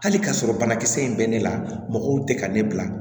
Hali k'a sɔrɔ banakisɛ in bɛ ne la mɔgɔw tɛ ka ne bila